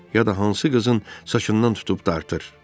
ya da hansı qızın saçından tutub dartır.